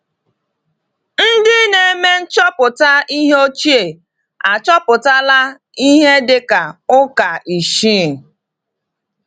Ndị na-eme nchọpụta ihe ochie achọpụtala ihe dị ka ụka isii.